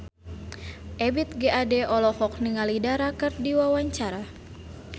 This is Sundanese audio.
Ebith G. Ade olohok ningali Dara keur diwawancara